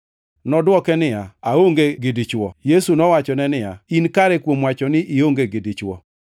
Nodwoke niya, “Aonge gi dichwo.” Yesu nowachone niya, “In kare kuom wacho ni ionge gi dichwo.